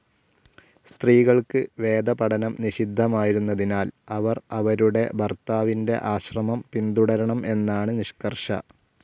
സ്ത്രീകൾക്ക് വേദപഠനം നിഷിദ്ധമായിരുന്നതിനാൽ അവർ അവരുടെ ഭർത്താവിന്റെ ആശ്രമം പിന്തുടരണം എന്നാണ് നിഷ്കർഷ‌.